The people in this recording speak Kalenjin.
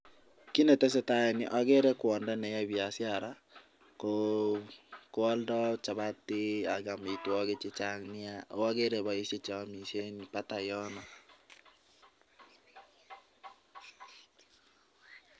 Kit netesetai en yu, ogere kwondo neyoe biashara ko aldo chapati ak amitwogik che chang nyaa ago ogere boishek che omishe en batai yono.